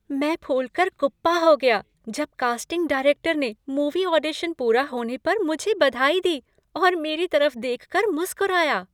मैं फूलकर कुप्पा हो गया जब कास्टिंग डायरेक्टर ने मूवी ऑडिशन पूरा होने पर मुझे बधाई दी और मेरी तरफ देखकर मुस्कुराया।